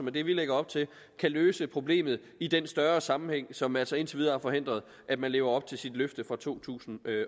er det vi lægger op til kan løse problemet i den større sammenhæng som altså indtil videre har forhindret at man lever op til sit løfte fra to tusind